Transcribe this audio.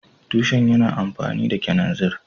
Tushen yana amfani da kananzir